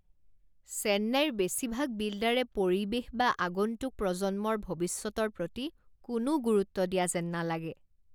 চেন্নাইৰ বেছিভাগ বিল্ডাৰে পৰিৱেশ বা আগন্তুক প্ৰজন্মৰ ভৱিষ্যতৰ প্ৰতি কোনো গুৰুত্ব দিয়া যেন নালাগে।